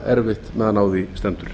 erfitt meðan á því stendur